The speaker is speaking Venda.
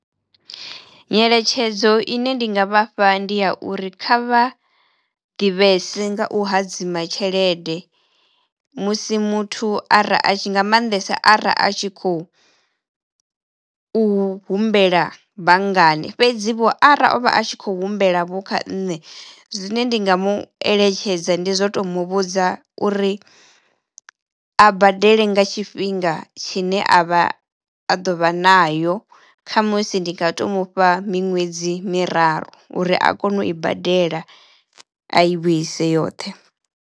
Nyeletshedzo ine ndi nga vhafha ndi ya uri kha vha ḓivhese nga u hadzima tshelede musi muthu ara a tshi nga mannḓesa ara a tshi khou u humbela banngani fhedzi vho arali o vha a tshi khou humbela vho kha nṋe zwine ndi nga mu eletshedza ndi zwo to mu vhudza uri a badele nga tshifhinga tshine a vha a ḓo vha nayo khamusi ndi nga to mufha miṅwedzi miraru uri a kono u i badela a i vhuise yoṱhe.